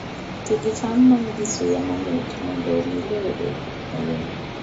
Ti gi cham ma nigi suya mamit mondo omi lowo obed mayom